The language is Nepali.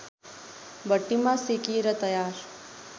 भट्टीमा सेकिएर तयार